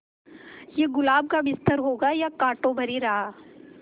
ये गुलाब का बिस्तर होगा या कांटों भरी राह